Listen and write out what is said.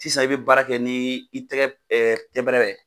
Sisan i bɛ baara kɛ ni i tɛgɛ pɛnpɛrɛ